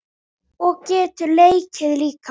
Og getur leikið líka.